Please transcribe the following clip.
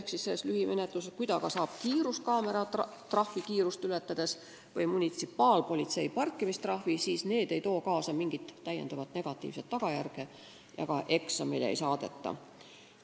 Kui ta saab näiteks kiiruskaameratrahvi kiiruse ületamise eest või munitsipaalpolitsei parkimistrahvi, siis need ei too kaasa mingit täiendavat tagajärge ja ka eksamile ei saadeta.